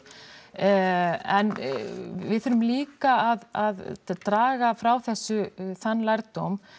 en við þurfum líka að draga frá þessu þann lærdóm